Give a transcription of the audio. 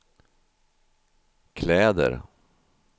kläder